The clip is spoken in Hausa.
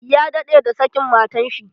Ya daɗe da sakin matan shi.